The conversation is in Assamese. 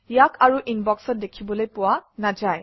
ইয়াক আৰু ইনবক্সত দেখিবলৈ পোৱা নাযায়